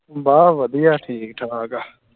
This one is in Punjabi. ਬਸ ਵਧੀਆ ਠੀਕ ਠਾਕ ਆ